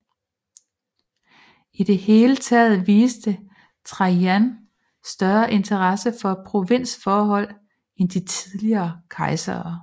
I det hele taget viste Trajan større interesse for provinsforhold end de tidligere kejsere